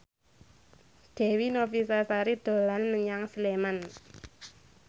Dewi Novitasari dolan menyang Sleman